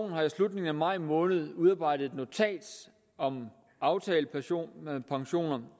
har i slutningen af maj måned udarbejdet et notat om aftalepensioner